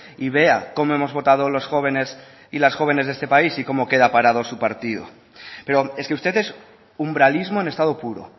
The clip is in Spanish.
y vea cómo hemos votado los jóvenes y las jóvenes de este país y cómo queda parado su partido pero es que usted es umbralismo en estado puro